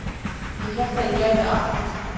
Ég hélt að ég gæti allt